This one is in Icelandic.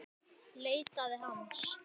Leitaði hans.